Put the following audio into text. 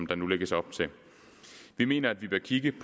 der nu lægges op til vi mener at vi bør kigge